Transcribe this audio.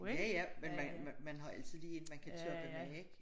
Ja ja men man men man har altid lige en man kan toppe med ik